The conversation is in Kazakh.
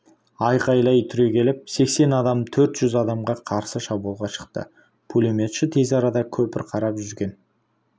айқайлай түрегеліп сексен адам төрт жүз адамға қарсы шабуылға шықты пулеметші тез арада көпір қарап жүрген